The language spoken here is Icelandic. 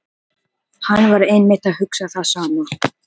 Hann var einmitt að hugsa það sama.